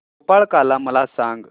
गोपाळकाला मला सांग